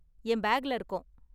என் பேக்ல இருக்கும்.